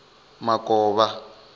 makovha